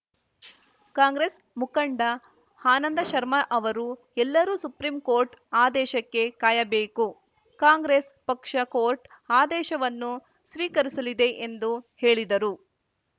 ಕಾಂಗ್ರೆಸ್‌ ಮುಖಂಡ ಆನಂದ ಶರ್ಮಾ ಅವರು ಎಲ್ಲರೂ ಸುಪ್ರಿಂ ಕೋರ್ಟ್‌ ಆದೇಶಕ್ಕೆ ಕಾಯಬೇಕು ಕಾಂಗ್ರೆಸ್‌ ಪಕ್ಷ ಕೋರ್ಟ್‌ ಆದೇಶವನ್ನು ಸ್ವೀಕರಿಸಲಿದೆ ಎಂದು ಹೇಳಿದರು